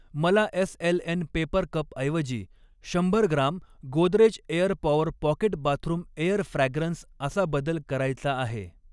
मला SLN paper कपऐवजी शंभर gram Godrej air power pocket bathroom air fragrance असा बदल करायचा आहे.